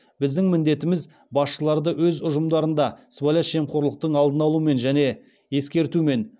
біздің міндетіміз басшыларды өз ұжымдарында сыбайлас жемқорлықтың алдын алумен және ескертумен